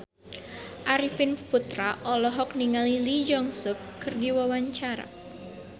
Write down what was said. Arifin Putra olohok ningali Lee Jeong Suk keur diwawancara